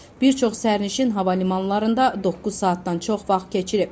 Bir çox sərnişin hava limanlarında doqquz saatdan çox vaxt keçirib.